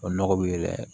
O nɔgɔ be